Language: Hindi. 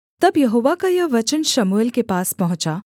तब यहोवा का यह वचन शमूएल के पास पहुँचा